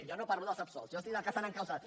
jo no parlo dels absolts jo dic dels que estan encausats